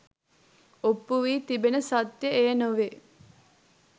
ඔප්පු වී තිබෙන සත්‍යය එය නොවේ